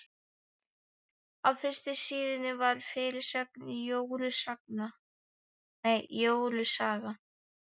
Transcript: Á fyrstu síðunni var fyrirsögn: Jóru saga.